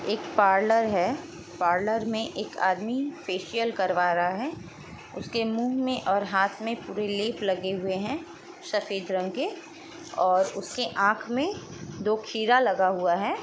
एक पार्लर है पार्लर में एक आदमी फेसिअल करवा रहा है उसके मुँह में और हाथ में पुरे लेप लगे हुए है सफेद रंग के और उसके आँख में दो खीरा लगा हुआ हैं ।